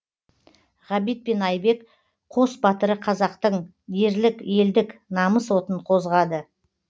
ғабит пен айбек қос батыры қазақтың ерлік елдік намыс отын қозғады